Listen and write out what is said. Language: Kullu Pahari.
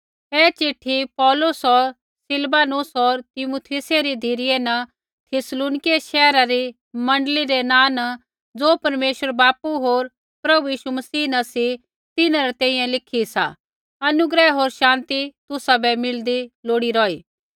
ऐ चिट्ठी पौलुस होर सिलवानुस होर तीमुथियुसै री धिरै न थिस्सलुनीकियै शैहरा री मण्डली रै नाँ न ज़ो परमेश्वर बापू होर प्रभु यीशु मसीह न सी तिन्हां री तैंईंयैं लिखी सा अनुग्रह होर शान्ति तुसाबै मिलदी लोड़ी रौही